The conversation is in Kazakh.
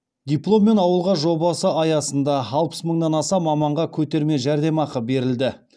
дипломмен ауылға жобасы аясында алпыс мыңнан аса маманға көтерме жәрдемақы берілді